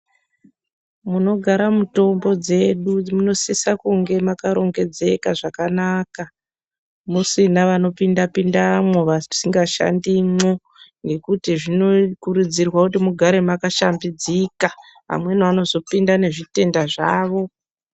Munogara mutombo dzedu munosisa kunge makarongedzeka zvakanaka musina vanopinda-pindamwo vasingashandimwo, nekuti zvinokurudzirwa kuti mugare makashambidzika, amweni anozopinda nezvitenda zvavo.